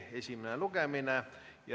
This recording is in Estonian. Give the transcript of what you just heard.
Esimene lugemine.